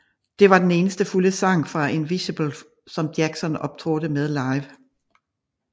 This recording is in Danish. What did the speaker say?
Det var den eneste fulde sang fra Invincible som Jackson optrådte med live